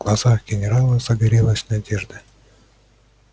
в глазах генерала загорелась надежда